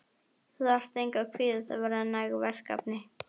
Þú þarft engu að kvíða, það verða næg verkefni.